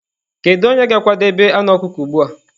Kedu onye ga-akwadebe anụ ọkụkọ ugbu a?